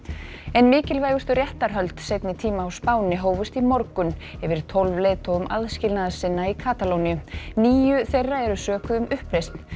ein mikilvægustu réttarhöld seinni tíma á Spáni hófust í morgun yfir tólf leiðtogum aðskilnaðarsinna í Katalóníu níu þeirra eru sökuð um uppreisn